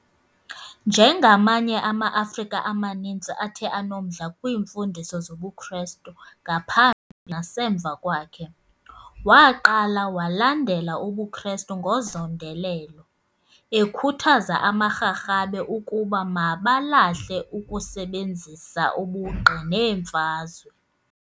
Njengamanye ama-Afrika amaninzi athe anomdla kwimfundiso zobuKrestu ngaphambi nasemva kwakhe, Waqala walandela ubuKrestu ngozondelelo, ekhuthaza amaRharhabe ukuba mabalahle ukusebenzisa ubugqi neemfazwe.